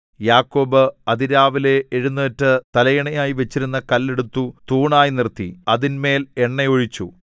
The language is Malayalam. യാക്കോബ് അതിരാവിലെ എഴുന്നേറ്റ് തലയണയായി വച്ചിരുന്ന കല്ല് എടുത്തു തൂണായി നിർത്തി അതിന്മേൽ എണ്ണ ഒഴിച്ചു